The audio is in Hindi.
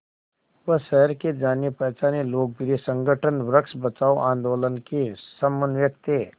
वह शहर के जानेपहचाने लोकप्रिय संगठन वृक्ष बचाओ आंदोलन के समन्वयक थे